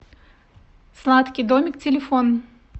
сладкий домик телефон